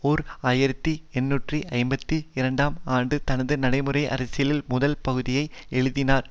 ஓர் ஆயிரத்தி எண்ணூற்று ஐம்பத்தி இரண்டாம் ஆண்டு தனது நடைமுறை அரசியலின் முதல் பகுதியை எழுதினார்